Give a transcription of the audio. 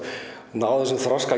náð þessum þroska